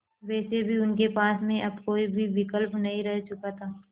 वैसे भी उनके पास में अब कोई भी विकल्प नहीं रह चुका था